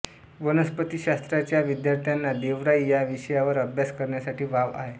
वनस्पतिशास्त्राच्या विद्यार्थ्यांना देवराई या विषयावर अभ्यास करण्यासाठी वाव आहे